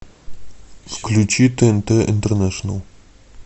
включи тнт интернешнл